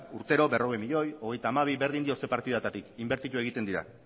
urtero berrogei milioi euro hogeita hamabi milioi euro berdin dio zein partidatatik inbertitu egiten dira